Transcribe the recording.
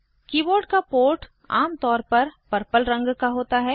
keyboard का port आम तौर पर पर्पल रंग का होता है